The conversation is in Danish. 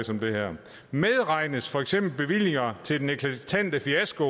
som det her medregnes for eksempel bevillinger til den eklatante fiasko